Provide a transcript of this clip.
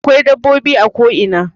Akwai dabbobi a ko ina